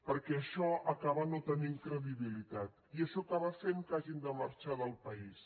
perquè això acaba no tenint credibilitat i això acaba fent que hagin de marxar del país